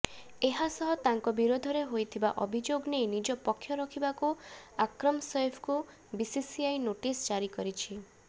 ଏହାସହ ତାଙ୍କ ବିରୋଧରେ ହୋଇଥିବା ଅଭିଯୋଗ ନେଇ ନିଜ ପକ୍ଷ ରଖିବାକୁ ଆକ୍ରମ୍ ସୈଫିଙ୍କୁ ବିସିସିଆଇ ନୋଟିସ୍ ଜାରିକରିଛି